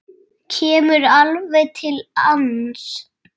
Kemur alveg til hans.